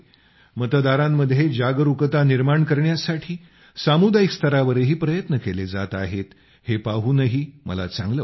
मतदारांमध्ये जागरूकता निर्माण करण्यासाठी सामुदायिक स्तरावरही प्रयत्न केले जात आहेत हे पाहूनही मला चांगलं वाटतं